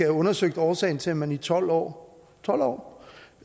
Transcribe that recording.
undersøgt årsagen til at man i tolv år tolv år